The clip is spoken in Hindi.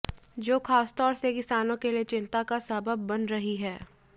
जो खासतौर से किसानों के लिए चिंता का सबब बन रही है